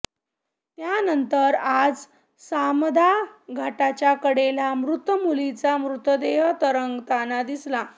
त्यानंतर आज सामदा घाटाच्या कडेला मृत मुलीचा मृतदेह तरंगताना दिसला